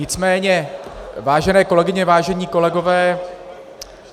Nicméně, vážené kolegyně, vážení kolegové -